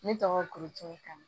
Ne tɔgɔ ko tanu